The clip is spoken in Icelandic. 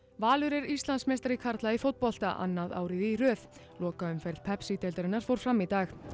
Valur er Íslandsmeistari karla í fótbolta annað árið í röð lokaumferð Pepsi deildarinnar fór fram í dag